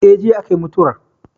Eh, jiya a ka yi mutuwar